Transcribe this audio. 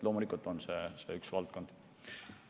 Loomulikult on see üks valdkond.